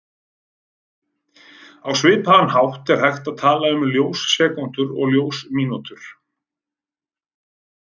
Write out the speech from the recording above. Á svipaðan hátt er hægt að tala um ljós-sekúndur og ljós-mínútur.